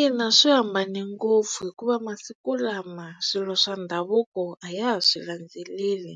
Ina swi hambane ngopfu hikuva masiku lama swilo swa ndhavuko a ya ha swi landzeleli